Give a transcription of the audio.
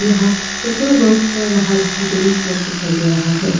यहां paper work कर रहा स्टूडेंट्स लोग दिखाई दे रहा है।